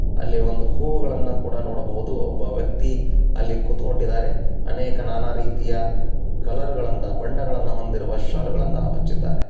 ಅಲ್ಲಿ ಒಂದು ಹೂಗಳನ್ನು ಕೂಡ ನೋಡಬಹುದು ಒಬ್ಬ ವ್ಯಕ್ತಿ ಅಲ್ಲಿ ಕುತ್ಕೊಂಡಿದ್ದಾರೆ ಅನೇಕ ನಾನಾ ರೀತಿಯ ಕಲರ್ ಗಳನ್ನ ಬಳಸಿ ಬಣ್ಣಗಳನ್ನು ಹೊಂದಿರುವ ಶಾಲ್ ಗಳನ್ನ ಹೊಚ್ಚಿದ್ದಾರೆ.